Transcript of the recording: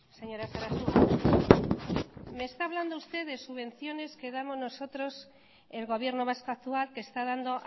señora sarasua me está hablando usted de subvenciones que damos nosotros el gobierno vasco actual que está dando